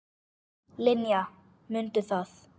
Linja, mundu það.